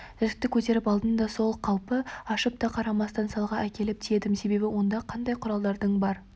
жәшікті көтеріп алдым да сол қалпы ашып та қарамастан салға әкеліп тиедім себебі онда қандай құралдардың бар